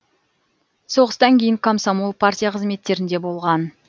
соғыстан кейін комсомол партия қызметтерінде болған